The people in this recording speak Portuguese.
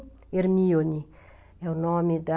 Hermione, é o nome da...